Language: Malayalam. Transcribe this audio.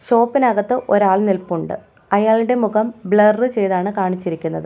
ഷോപ്പിനകത്ത് ഒരാൾ നിൽപ്പുണ്ട് അയാളുടെ മുഖം ബ്ലർ ചെയ്താണ് കാണിച്ചിരിക്കുന്നത്.